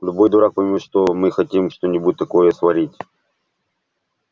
любой дурак поймёт что мы хотим что-нибудь такое сварить